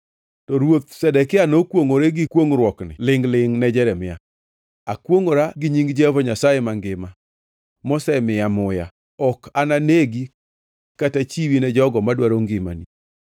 To Ruoth Zedekia nokwongʼore gi kwongʼruokni lingʼ-lingʼ ne Jeremia: “Akwongʼora gi nying Jehova Nyasaye mangima, mosemiyowa muya, ok ananegi kata chiwi ne jogo madwaro ngimani.”